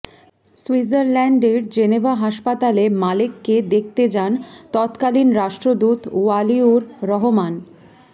সুইজারল্যান্ডের জেনেভা হাসপাতালে মালেককে দেখতে যান তত্কালীন রাষ্ট্রদূত ওয়ালিউর রহমান